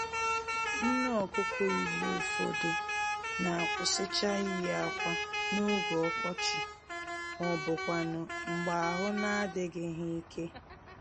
Nné-Ọkụkọ Igbo ụfọdụ n'akwụsịcha iyi ákwà n'oge ọkọchị, mọbụkwanụ̀ mgbè ahụ n'adịghị ha íke